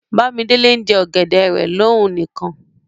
Bàmídélé n jẹ̀ ọgẹ̀dẹ̀ rẹ̀ lọ̀ún níkan.